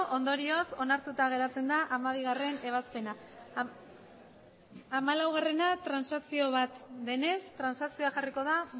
ondorioz onartuta geratzen da hamabigarrena ebazpena hamalaua transazio bat denez transazioa jarriko da